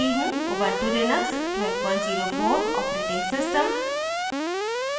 * ubuntu Linux 1204 os